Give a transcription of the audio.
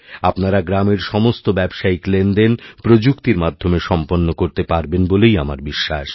আপনারাগ্রামের সমস্ত ব্যবসায়িক লেনদেন প্রযুক্তির মাধ্যমে সম্পন্ন করতে পারবেন বলেই আমারবিশ্বাস